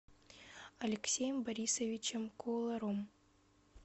алексеем борисовичем кууларом